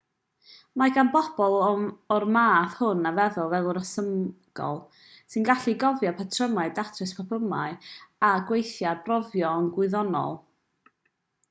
mae gan bobl a'r math hwn o feddwl feddwl rhesymegol sy'n gallu cofio patrymau datrys problemau a gweithio ar brofion gwyddonol